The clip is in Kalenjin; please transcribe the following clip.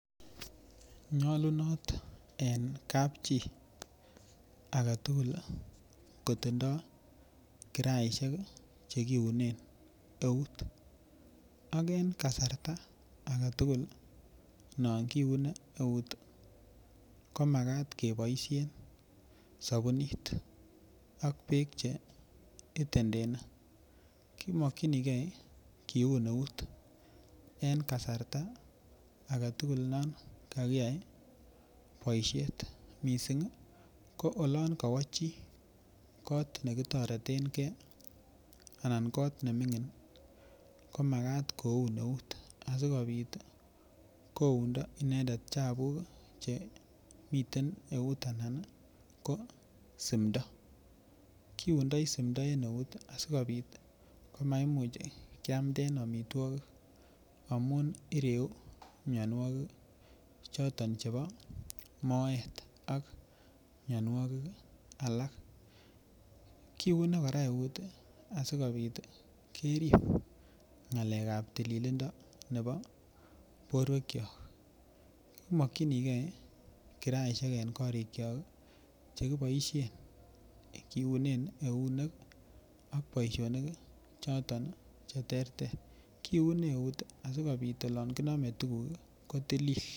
Nyolunot en kapchii agetukul kitindo kiraishek chekipune eut ak en kasarta agetukul no kiune eut komakat keboishen sobunit ak beek cheitentene, komokinigee kiune eut en kasarta agetukul non kakiyai boishet missing ko olon kowoo chii kot nekitoretengee anan kot nemingin komakat koun eut asikopit koundo inendet chebuk chemiten eut anan nii ko simto kiundoi simto en eut sikopit komaimuch kiamden omitwokik amun ireu mionwokik choton chebo oret ak mionwokik alak. Kiune Koraa eut sikopit kerib ngalekab tililindo nebo borwek kyok. Komokinigee kiraishek en korikyok chekiboishen kiune eunek an boishonik choton cheterter kiune asikopit olon kinome tukuk kotilil.